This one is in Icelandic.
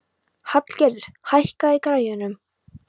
Hallgerður, hækkaðu í græjunum.